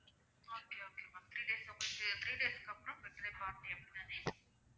okay okay ma'am three days ல உங்களுக்கு three days க்கு அப்பறம் birthday party அப்படிதான